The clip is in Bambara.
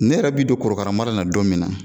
Ne yɛrɛ bi don korokaramara in na don min na,